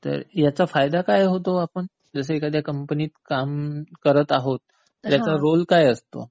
तर याचा फायदा काय होतो? जसं एखाद्या कंपनीत काम करत आहोत ह्याचा रोल काय असतो?